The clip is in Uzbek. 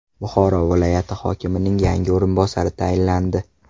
Buxoro viloyati hokimining yangi o‘rinbosari tayinlandi.